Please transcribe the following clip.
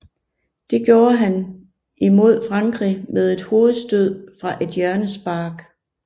Det gjorde han imod Frankrig med et hovedstød fra et hjørnespark